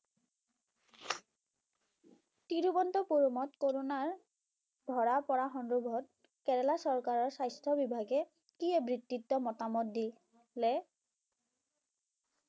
তিৰুৱন্তপুৰমত কৰোণাৰ ধৰা পৰা সন্দৰ্ভত কেৰেলা চৰকাৰৰ স্বাস্থ্য বিভাগে কি মতামত দিলে